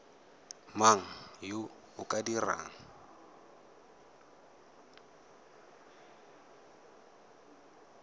mang yo o ka dirang